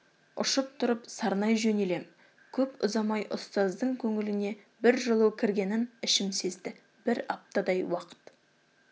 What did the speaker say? ұшып тұрып сарнай жөнелем көп ұзамай ұстаздың көңіліне бір жылу кіргенін ішім сезді бір аптадай уақыт